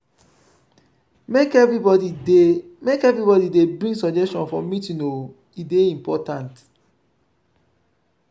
make everybodi dey make everybodi dey bring suggestion for meeting o e dey important.